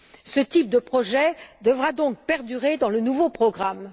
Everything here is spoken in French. Ce type de projet devra donc perdurer dans le nouveau programme.